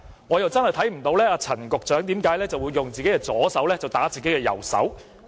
我真的看不到為何陳局長會用自己的左手打自己的右手。